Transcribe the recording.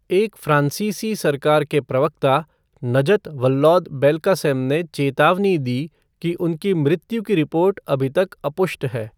एक फ्रांसीसी सरकार के प्रवक्ता, नजत वल्लौद बेल्कासेम ने चेतावनी दी कि उनकी मृत्यु की रिपोर्ट अभी तक अपुष्ट है।